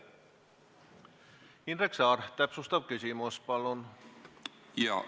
Indrek Saar, täpsustav küsimus, palun!